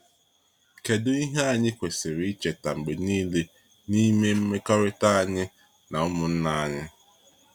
Kedu ihe anyị kwesịrị icheta mgbe niile n’ime mmekọrịta anyị na ụmụnna anyị?